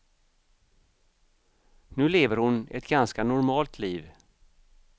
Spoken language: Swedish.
Nu lever hon ett ganska normalt liv.